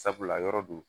Sabula yɔrɔ don